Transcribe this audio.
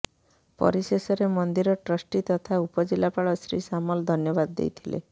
ପରିଶେଷରେ ମନ୍ଦିର ଟ୍ରଷ୍ଟି ତଥା ଉପଜିଲାପାଳ ଶ୍ରୀ ସାମଲ ଧନ୍ୟବାଦ ଦେଇଥିଲେ